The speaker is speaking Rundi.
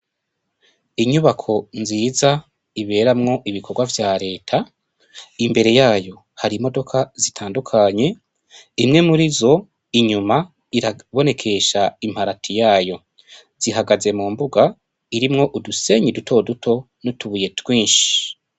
Inyubako nziza iberamwo ibikorwa vya reta, imbere yayo hari imodoka zitandukanye, imwe mur'izo inyuma irabonekesha imparati yayo, zihagaze mu mbuga irimwo udusenyi duto duto n'utubuye twinshi.